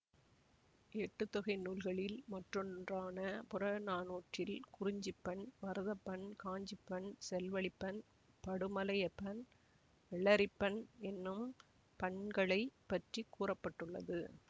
எட்டுத் தொகை நூல்களில் மற்றொன்றான புறநானூற்றில் குறிஞ்சிப்பண் மருதப்பண்காஞ்சிப்பண் செல்வழிப்பண் படுமலையப்பண் விளரிப்பண் என்னும் பண்களை பற்றி கூற பட்டுள்ளது